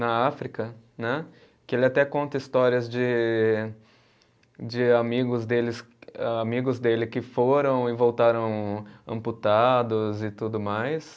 na África né, que ele até conta histórias de, de amigos deles, amigos dele que foram e voltaram amputados e tudo mais.